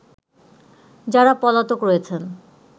যারা পলাতক রয়েছেন